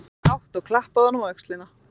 sagði hún hátt, og klappaði honum á öxlina.